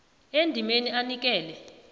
endimeni a anikele